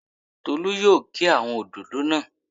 Tolu yóò gé àwọn òdòdó náà